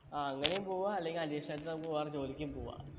ആ അങ്ങനേം പോവാം അല്ലെങ്കി addition ആയിട്ട് നമുക്ക് വേറെ ജോലിക്കും പോവാ